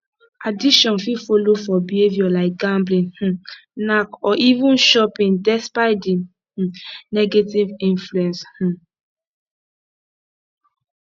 addiction fit follow for behaviour like gambling um knack or even shopping despite di um negative influence um